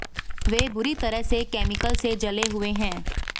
वे बुरी तरह से केमिकल से जले हुए हैं